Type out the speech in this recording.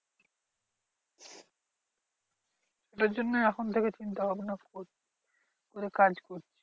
ওটার জন্যই এখন থেকে চিন্তা ভাবনা করছি। কি করে কাজ